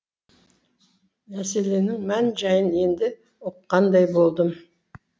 мәселенің мән жайын енді ұққандай болдым